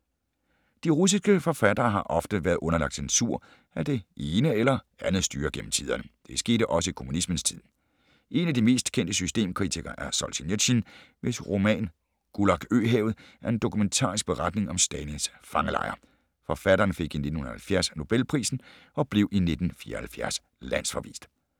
De russiske forfattere har ofte været underlagt censur af det ene eller andet styre gennem tiderne. Det skete også i kommunismens tid. En af de mest kendte systemkritikere er Solzjenitsyn, hvis roman Gulag øhavet er en dokumentarisk beretning om Stalins fangelejre. Forfatteren fik i 1970 Nobelprisen og blev i 1974 landsforvist.